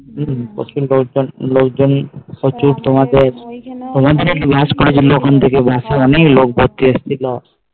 হম প্রচুর লোক জন তোমার জন্য একটা bus করেছিল ওখান থেকে bus এ লোক ভর্তি এসেছিলো